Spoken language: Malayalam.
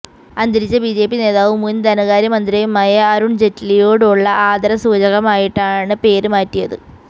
അന്തരിച്ച ബിജെപി നേതാവും മുന് ധനകാര്യ മന്ത്രിയുമായ അരുണ് ജയ്റ്റ്ലിയോടുള്ള ആദരസൂചകമായിട്ടാണ് പേര് മാറ്റിയത്